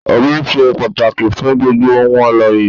Omi ṣe pàtàkì fún gbogbo òun alààyè.